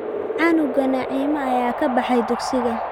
Canuga Naima ayaa ka baxay dugsiga